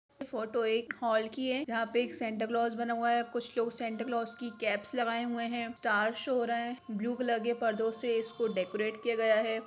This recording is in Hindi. फोटो एक हॉल की है जहा पे एक सैंटा क्लोज़ बना हुआ है कुछ लोग सैंटा क्लॉज़ की केप्स लगाए हुए है स्टार्स शो हो रहा है ब्लू कलर के पर्दो से इसको डेकोरेट किया गया है।